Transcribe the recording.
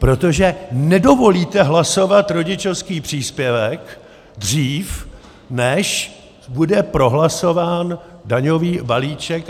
Protože nedovolíte hlasovat rodičovský příspěvek dřív, než bude prohlasován daňový balíček.